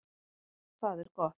Það er gott